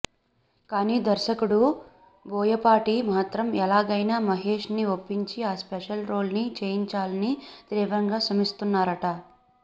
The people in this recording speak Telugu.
కానీ దర్శకుడు బోయపాటి మాత్రం ఎలాగైనా మహేష్ ని ఒప్పించి ఆ స్పెషల్ రోల్ ని చేయించాలని తీవ్రంగా శ్రమిస్తున్నారట